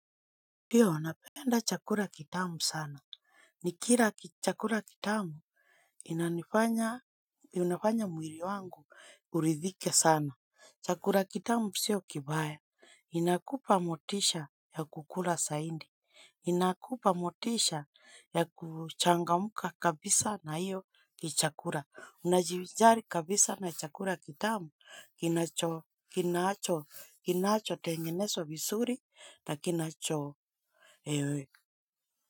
Ndio, napenda chakula kitamu sana. Nikila chakula kitamu, inanifanya, unafanya mwili wangu. Uridhike sana chakula kitamu sio kibaya inakupa motisha ya kukula zaidi. Inakupa motisha ya kuchangamka kabisa na hiyo ni chakula unajivijari kabisa na chakula kitamu, kinacho, kinacho, kinachotengeneswa visuri na kinacho.